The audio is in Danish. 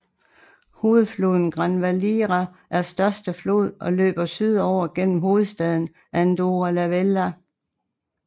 Hovedfloden Gran Valira er største flod og løber sydover gennem hovedstaden Andorra la Vella